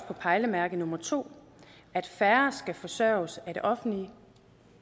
på pejlemærke nummer to at færre skal forsørges af det offentlige